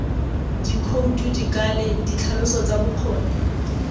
dikhoutu dikale ditlhaloso tsa bokgoni